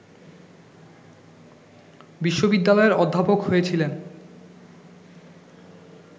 বিশ্ববিদ্যালয়ের অধ্যাপক হয়েছিলেন